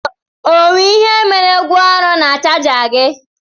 Ọ nwe ihe mere gwa ọrụ na chaja gi?